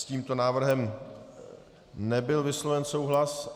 S tímto návrhem nebyl vysloven souhlas.